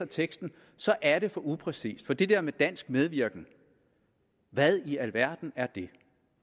teksten så er det for upræcist for det der med dansk medvirken hvad i alverden er det